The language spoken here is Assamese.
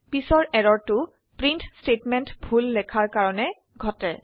পিছৰ এৰৰটো প্ৰিন্ট স্টেটমেন্টেত ভুল লেখাৰ কাৰণে ঘটে